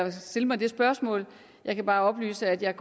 at stille mig det spørgsmål jeg kan bare oplyse at jeg